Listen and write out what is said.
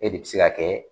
E de bɛ se ka kɛ